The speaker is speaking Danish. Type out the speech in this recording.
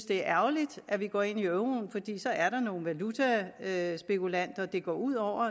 det er ærgerligt at vi går ind i euroen fordi så er der nogle valutaspekulanter det går ud over